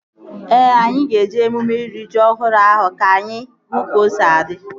Ee, anyị ga-eje emume iri ji ọhụrụ ahụ ka anyị hụ ka o si adị